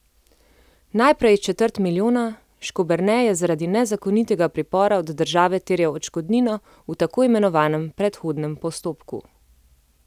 Najprej četrt milijona, Škoberne je zaradi nezakonitega pripora od države terjal odškodnino v tako imenovanem predhodnem postopku.